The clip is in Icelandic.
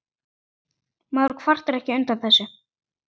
Maður kvartar ekki undan þessu.